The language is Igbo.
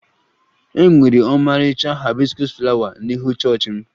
E nwere ọmarịcha haibiskus flawa n'ihu chọọchị m